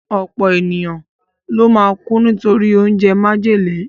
Ọ̀pọ̀ èèyàn ló máa kú nítorí oúnjẹ májèlé